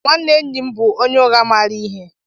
Nwanne enyim bu onye ugha mara ihe